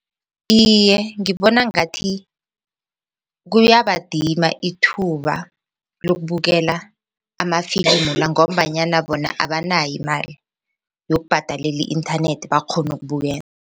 Iye, ngibona ngathi kuyabadima ithuba lokubukela amafilimu la ngombanyana bona abanayo imali yokubhadalela i-inthanethi bakghone ukubukela.